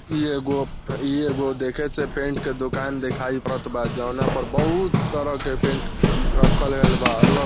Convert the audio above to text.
इ एगो इ एगो देखे से पेंट के दोकान दिखाई पड़त बा जौना पर बहुत तरह के पेंट रखल गेल बा अल --